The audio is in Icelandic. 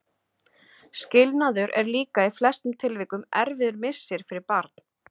Skilnaður er líka í flestum tilvikum erfiður missir fyrir barn.